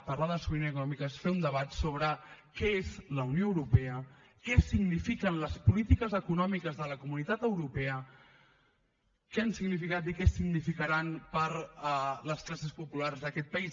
parlar de sobirania econòmica és fer un debat sobre què és la unió europea què signifiquen les polítiques econòmiques de la comunitat europea què han significat i què significaran per a les classes populars d’aquest país